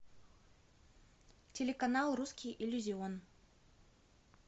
телеканал русский иллюзион